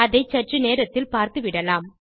அதை சற்று நேரத்தில் பார்த்துவிடலாம்